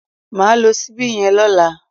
Mà á lo síbí yen lọ́lá